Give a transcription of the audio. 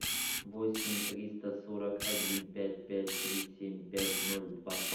восемь триста сорок один пять пять три семь пять ноль два